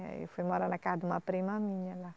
É, eu fui morar na casa de uma prima minha lá.